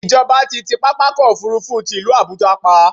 Ìjọba ti ti pápákọ̀-òfurufú ti ìlú Àbuja pa.